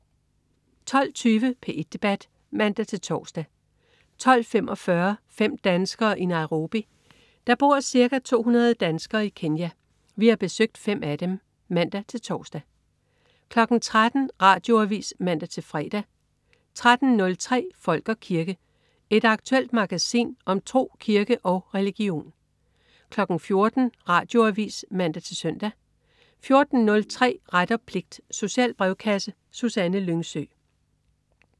12.20 P1 Debat (man-tors) 12.45 Fem danskere i Nairobi. Der bor cirka 200 danskere i Kenya. Vi har besøgt fem af dem (man-tors) 13.00 Radioavis (man-fre) 13.03 Folk og kirke. Et aktuelt magasin om tro, kirke og religion 14.00 Radioavis (man-søn) 14.03 Ret og pligt. Social brevkasse. Susanne Lyngsø